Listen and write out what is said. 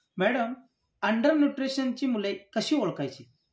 Madam under न्यूट्रिशनची मुले कशी ओळखायची?